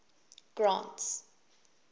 grant's